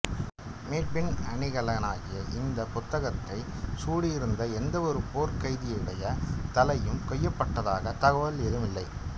மீட்பின் அணிகலனாகிய இந்த பதக்கத்தை சூடியிருந்த எந்தவொரு போர்க் கைதியுடைய தலையும் கொய்யப்பட்டதாகத் தகவல் எதுவும் இல்லை